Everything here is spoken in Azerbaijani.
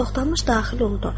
Toxtamış daxil oldu.